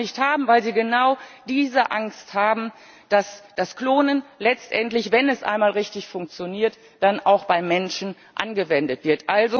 Sie wollen das nicht haben, weil sie genau diese Angst haben, dass das Klonen letztendlich, wenn es einmal richtig funktioniert, dann auch beim Menschen angewendet wird.